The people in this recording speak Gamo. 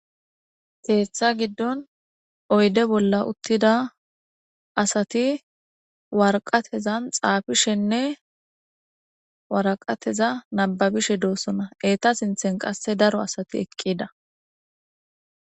Ketha gidon oyde bola utida asati waraqatezan xaafishene waraqatezan nababishe de'osona eta sinthe qase daro asati eqida